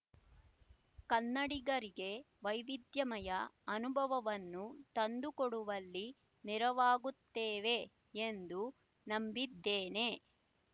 ಕನ್ನಡಿಗರಿಗೆ ವೈವಿಧ್ಯಮಯ ಅನುಭವವನ್ನು ತಂದುಕೊಡುವಲ್ಲಿ ನೆರವಾಗುತ್ತವೆ ಎಂದು ನಂಬಿದ್ದೇನೆ